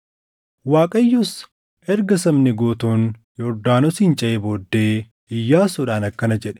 Waaqayyos erga sabni guutuun Yordaanosin ceʼee booddee, Iyyaasuudhaan akkana jedhe;